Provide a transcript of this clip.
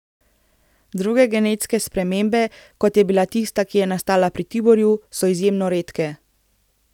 Druge genetske spremembe, kot je bila tista, ki je nastala pri Tiborju, so izjemno redke.